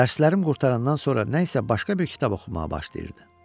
Dərslərim qurtarandan sonra nəsə başqa bir kitab oxumağa başlayırdı.